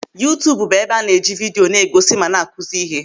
Yuutubu bụ ebe a na-eji vidio na-egosi ma na-akụzi ihe.